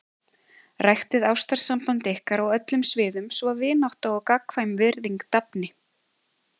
Ræktið ástarsamband ykkar á öllum sviðum svo vinátta og gagnkvæm virðing dafni.